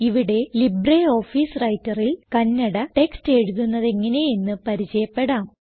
ഇവിടെ ലിബ്രിയോഫീസ് Writerൽ കണ്ണട ടെക്സ്റ്റ് എഴുതുന്നതെങ്ങനെയെന്ന് പരിചയപ്പെടാം